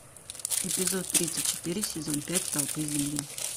эпизод тридцать четыре сезон пять столпы земли